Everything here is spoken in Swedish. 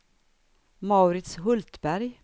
Mauritz Hultberg